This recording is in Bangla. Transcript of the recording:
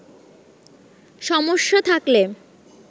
সমস্যা থাকলে